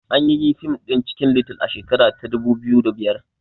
Anyi yi fim ɗin cikin little a shekara ta dubu biyu da biyar